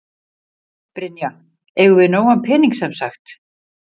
Brynja: Eigum við nógan pening sem sagt?